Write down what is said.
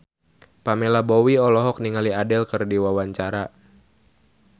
Pamela Bowie olohok ningali Adele keur diwawancara